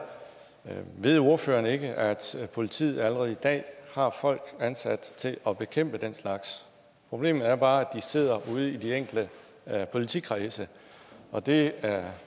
ved ordføreren ikke at politiet allerede i dag har folk ansat til at bekæmpe den slags problemet er bare at de sidder ude i de enkelte politikredse og det